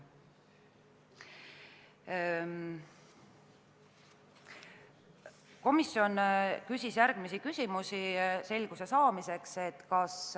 Komisjonis küsiti selguse saamiseks järgmisi küsimusi.